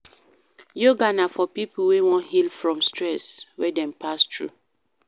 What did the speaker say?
Yoga na for pipo wey won heal from stress wey dem pass through